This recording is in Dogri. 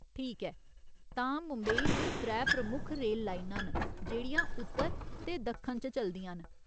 ठीक ऐ, तां मुंबई च त्रै प्रमुख रेल लाइनां न जेह्ड़ियां उत्तर ते दक्खन च चलदियां न।